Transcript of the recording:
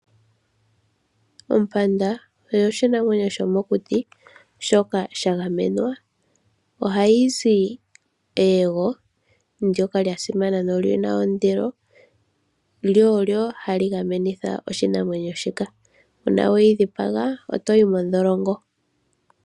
Ompanda oyo oshinamwenyo shomokuti shoka sha gamenwa . Oha yizi eyego ndoka lya simana nolina ondilo lyo olyo hali dhipagitha oshinamwenyo shika .Uuna weyi dhipaga otoyi mondholongo.